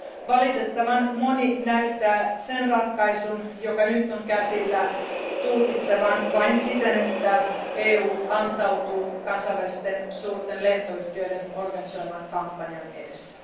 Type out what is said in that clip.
Valitettavan moni näyttää sen ratkaisun, joka nyt on käsillä, tulkitsevan vain siten, että EU antautuu kansainvälisten suurten lentoyhtiöiden organisoiman kampanjan edessä.